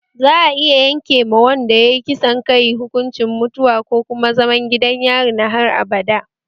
Za'a iya yanke ma wanda yayi kisan kai hukuncin mutuwa ko kuma zaman gidan yari na har abada